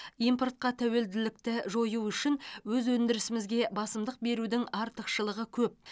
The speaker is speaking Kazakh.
импортқа тәуелділікті жою үшін өз өндірісімізге басымдық берудің артықшылығы көп